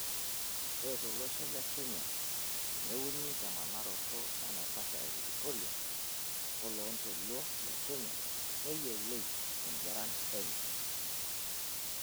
Ore tolosho le Kenya neuni temanaroto enaiposha ee Viktoria woloontoluo le Kenya neyioloi tendwaran enye.